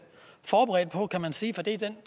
forberedt på kan man sige for det er den